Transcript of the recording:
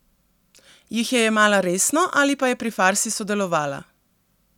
Jih je jemala resno ali pa je pri farsi sodelovala?